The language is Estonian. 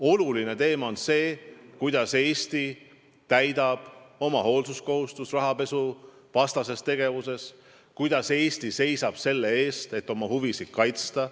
Oluline teema on see, kuidas Eesti täidab oma hoolsuskohustust rahapesuvastases tegevuses, kuidas Eesti seisab selle eest, et oma huvisid kaitsta.